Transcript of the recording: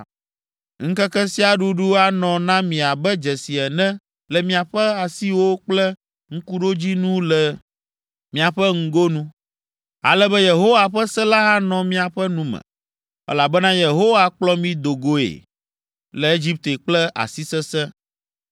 Ŋkeke sia ɖuɖu anɔ na mi abe dzesi ene le miaƒe asiwo kple ŋkuɖodzinu le miaƒe ŋgonu, ale be Yehowa ƒe se la anɔ miaƒe nu me, elabena Yehowa kplɔ mi do goe le Egipte kple asi sesẽ.